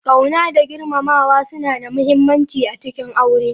Ƙauna da girmamawa suna da muhimmanci a cikin aure.